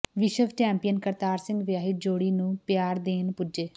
ਵਿਸ਼ਵ ਚੈਪੀਂਅਨ ਕਰਤਾਰ ਸਿੰਘ ਵਿਆਹੀ ਜੋੜੀ ਨੂੰ ਪਿਆਰ ਦੇਣ ਪੁੱਜੇ